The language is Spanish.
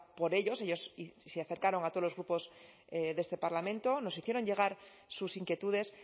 por ellos ellos se acercaron a todos los grupos de este parlamento nos hicieron llegar sus inquietudes